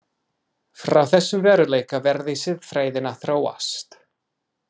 Frá þessum veruleika verði siðfræðin að þróast.